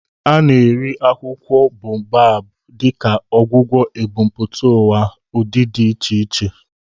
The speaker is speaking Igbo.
A na-eri akwụkwọ Baobu dịka ọgwụgwọ ebumpụta ụwa n'ụdị dị iche iche.